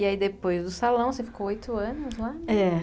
E aí, depois do salão, você ficou oito anos lá?